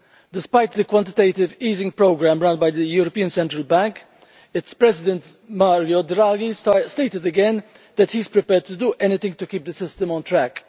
Despite the quantitative easing programme run by the European Central Bank, its President Mario Draghi stated again that he is prepared to do anything to keep the system on track.